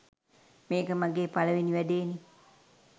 මේක මගේ පළවෙනි වැඩේනේ